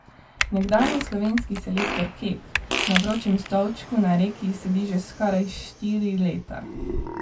Nekdanji slovenski selektor Kek na vročem stolčku na Reki sedi že skoraj štiri leta.